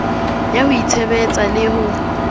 ya ho itshebetsa le ho